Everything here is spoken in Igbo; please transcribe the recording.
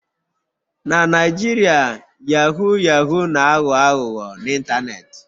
Na Naijiria yahoo yahoo na-aghọ aghụghọ n'ịntanetị.